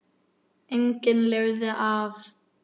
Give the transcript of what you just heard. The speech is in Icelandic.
Enginn lifði af.